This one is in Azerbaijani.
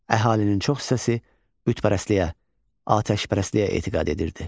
Əhalinin çox hissəsi qütpərəstliyə, atəşpərəstliyə etiqad edirdi.